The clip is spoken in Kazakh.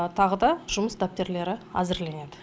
тағы да жұмыс дәптерлері әзірленеді